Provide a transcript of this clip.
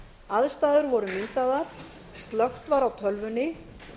aðstæður voru nýsaðar slökkt var á tölvunni